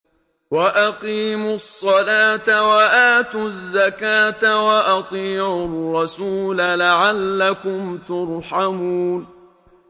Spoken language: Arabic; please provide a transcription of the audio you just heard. وَأَقِيمُوا الصَّلَاةَ وَآتُوا الزَّكَاةَ وَأَطِيعُوا الرَّسُولَ لَعَلَّكُمْ تُرْحَمُونَ